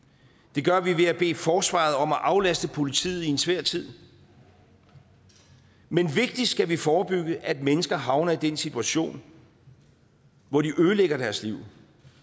det gør vi ved at bede forsvaret om at aflaste politiet i en svær tid men vigtigst skal vi forebygge at mennesker havner i den situation hvor de ødelægger deres liv